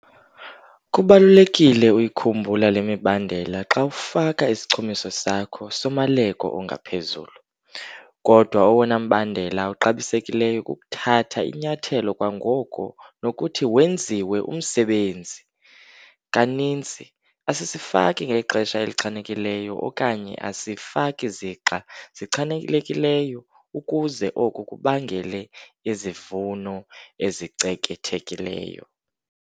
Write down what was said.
Kubalulekile ukuyikhumbula le mibandela xa ufaka isichumiso sakho somaleko ongaphezulu. Kodwa owona mbandela uxabisekileyo kukuthatha inyathelo kwangoko nokuthi wenziwe umsebenzi! Kaninzi, asisifaki ngexesha elichanekileyo okanye asifaki zixa zichanekileyo ukuze oko kubangele izivuno ezicekethekileyo.